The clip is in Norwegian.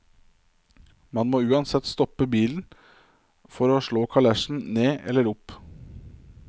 Man må uansett stoppe bilen for å slå kalesjen ned eller opp.